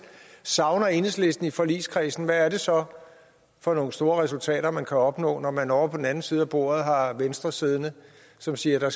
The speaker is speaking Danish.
savner enhedslisten i forligskredsen hvad er det så for nogle store resultater man kan opnå når man ovre på den anden side af bordet har venstre siddende som siger at der